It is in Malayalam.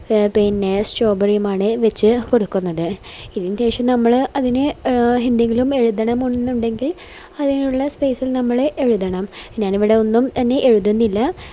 എ പിന്നെ strawberry യും ആണ് വെച് കൊടുക്കുന്നത് ഇനി പക്ഷേ നമ്മള് അതില് എന്തെങ്കിലും എഴുതണം എന്നുണ്ടെങ്കിൽ അതിനുള്ള space ഇൽ നമ്മള് എഴുതണം ഞാനിവിടെ ഒന്നും തന്നെ എഴുതുന്നില്ല